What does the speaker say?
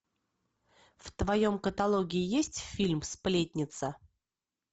в твоем каталоге есть фильм сплетница